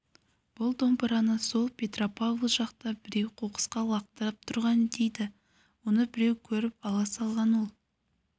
бұл домбыраны сол петропавл жақта біреу қоқысқа лақтырып тастаған дейді оны біреу көріп ала салған ол